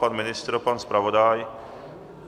Pan ministr, pan zpravodaj?